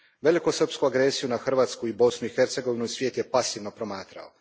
Velikosrpsku agresiju na Hrvatsku i Bosnu i Hercegovinu svijet je pasivno promatrao.